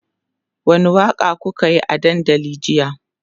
wani Waka kukayi a dandali jiya?